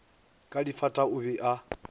ka difata o be a